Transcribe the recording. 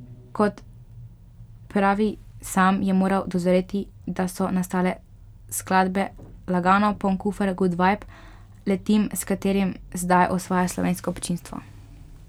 Kot pravi sam, je moral dozoreti, da so nastale skladbe Lagano, Poln kufer, Gud vajb, Letim, s katerimi zdaj osvaja slovensko občinstvo.